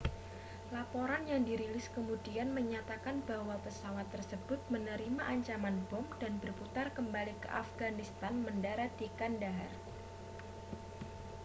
laporan yang dirilis kemudian menyatakan bahwa pesawat tersebut menerima ancaman bom dan berputar kembali ke afghanistan mendarat di kandahar